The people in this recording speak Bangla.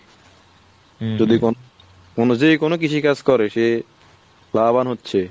যে কোনো কিছু কাজ করে সে লাভবান হচ্ছে।